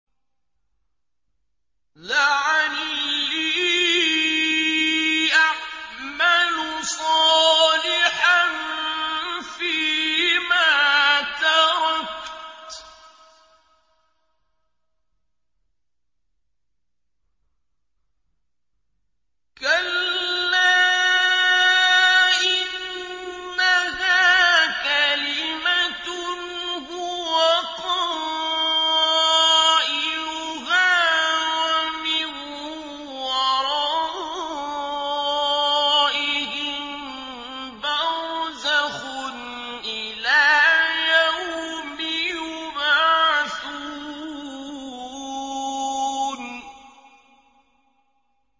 لَعَلِّي أَعْمَلُ صَالِحًا فِيمَا تَرَكْتُ ۚ كَلَّا ۚ إِنَّهَا كَلِمَةٌ هُوَ قَائِلُهَا ۖ وَمِن وَرَائِهِم بَرْزَخٌ إِلَىٰ يَوْمِ يُبْعَثُونَ